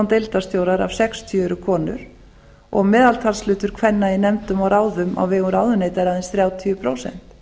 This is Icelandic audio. deildarstjórar af sextíu eru konur og meðaltalshlutur kvenna í nefndum og ráðum á vegum ráðuneyta er aðeins þrjátíu prósent